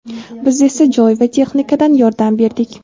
biz esa joy va texnikadan yordam berdik.